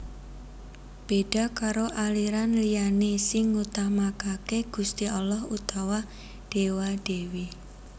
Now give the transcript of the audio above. Béda karo aliran liyané sing ngutamakaké Gusti Allah utawa Déwa Dèwi